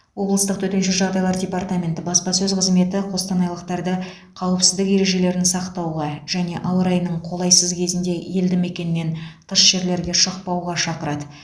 облыстық төтенше жағдайлар департаменті баспасөз қызметі қостанайлықтарды қауіпсіздік ережелерін сақтауға және ауа райының қолайсыз кезінде елді мекеннен тыс жерлерге шықпауға шақырады